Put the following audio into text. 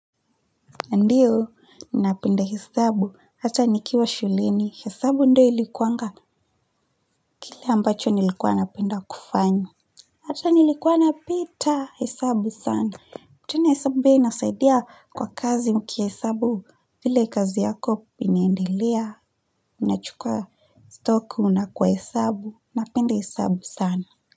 Ndiyo, ninapenda hesabu. Hata nikiwa shuleni. Hesabu ndo ilikuanga kile ambacho nilikuwa napenda kufanya. Hata nilikuwa napita hesabu sana. Tena hesabu pia inasaidia kwa kazi ukihesabu vile kazi yako inaendelea. Unachukua stock unako hesabu. Napenda hesabu sana.